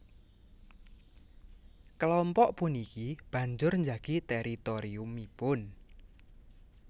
Kelompok puniki banjur njagi teritoriumipun